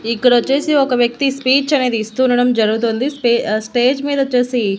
ఇక్కడ వచ్చేసి ఒక వ్యక్తి స్పీచ్ అనేది ఇస్తునడం జరుగుతుంది స్పే ఆ స్టేజ్ మీద వచ్చేసి--